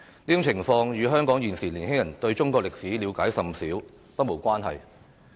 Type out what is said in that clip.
上述情況與香港現時年輕人對中國歷史了解甚少不無關係。